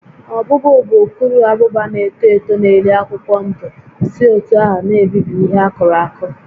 Ọbụ́bụụ bụ ukuruabụba na-eto eto na-eri akwụkwọ ndụ si otú ahụ na-ebibi ihe akụrụ akụ